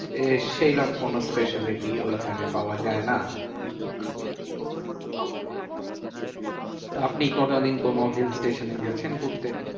এ সেইরম কোনো speciality ওইখানে পাওয়া যায় না। okay তো আপনি কোনোদিন কোনো hill station এ গেছেন ঘুরতে?